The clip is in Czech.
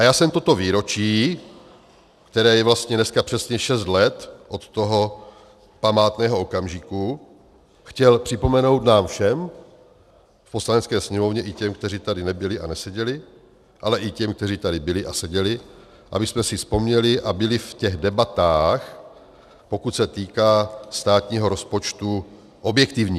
A já jsem toto výročí, které je vlastně dneska přesně šest let od toho památného okamžiku, chtěl připomenout nám všem v Poslanecké sněmovně, i těm, kteří tady nebyli a neseděli, ale i těm, kteří tady byli a seděli, abychom si vzpomněli a byli v těch debatách, pokud se týká státního rozpočtu, objektivní.